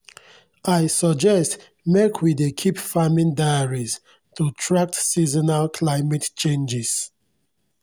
i suggest mek we dey keep farming diaries to track seasonal climate changes.